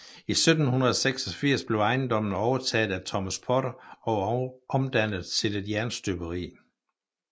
I 1786 blev ejendommen overtaget af Thomas Potter og omdannet til et jernstøberi